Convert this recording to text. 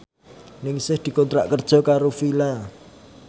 Ningsih dikontrak kerja karo Fila